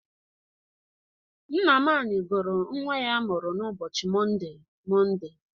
Nnamani gụrụ nnwa ya a mụrụ n'ụbochi Monde, Monde.